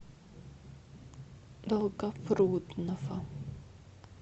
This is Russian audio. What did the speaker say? долгопрудного